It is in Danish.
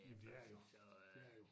Jamen det er det jo det er jo